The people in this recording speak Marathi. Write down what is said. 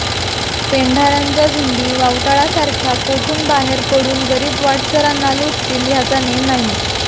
पेंढार्यांच्या झुंडी वावटळासारख्या कोठून बाहेर पडून गरीब वाटसरांना लुटतील ह्याचा नेम नाही